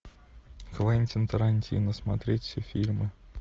квентин тарантино смотреть все фильмы